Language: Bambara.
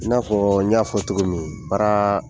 I n'afɔ n y'a fɔ cogo min baara